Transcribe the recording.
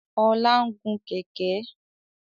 Ọlá ń gùn Kẹ̀kẹ́